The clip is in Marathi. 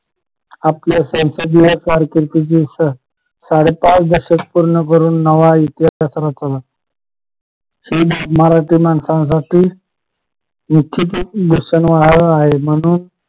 आपल्या संसदीय कारकिर्दीची साडे पाच दशक पूर्ण करून नवा इतिहासच रचला मराठी माणसांसाठी म्हणून